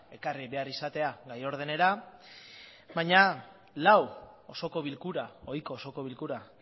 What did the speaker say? ekarri behar izatea gai ordenera baina lau osoko bilkura ohiko osoko bilkura